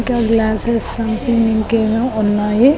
ఇంకా glasses something ఇంకేవో ఉన్నాయి.